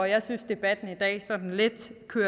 jeg synes at debatten i dag sådan lidt